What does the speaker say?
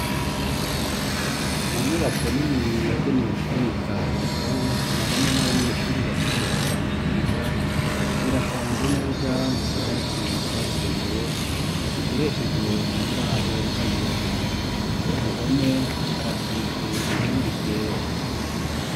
Mu nyubako nini yagenewe kubika ibitabo mwarimu n'abanyeshuri bakoresha mu kwiga ,birapanze neza mu tubati twabigenewe dukoreshejwe mu mbaho z'ibiti, ku ruhome harasize irangi ryera.